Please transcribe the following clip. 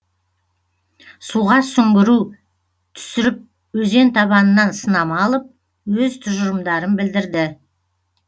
суға сүңгіру түсіріп өзен табанынан сынама алып өз тұжырымдарын білдірді